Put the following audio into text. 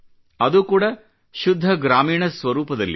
ಅದು ಕೂಡಾ ಶುದ್ಧ ಗ್ರಾಮೀಣ ಸ್ವರೂಪದಲ್ಲಿ